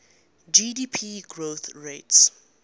gdp growth rates